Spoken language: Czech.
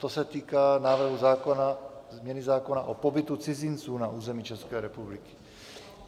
To se týká návrhu zákona, změny zákona, o pobytu cizinců na území České republiky.